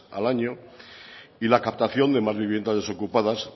al año y la captación de más viviendas desocupadas